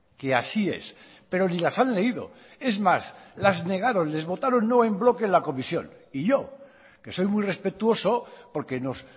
que así es pero ni las han leído es más las negaron les votaron no en bloque en la comisión y yo que soy muy respetuoso porque nos